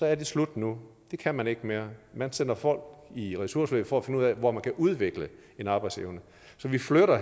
er slut nu det kan man ikke mere man sender folk i ressourceforløb for at finde ud af hvor de kan udvikle en arbejdsevne så vi flytter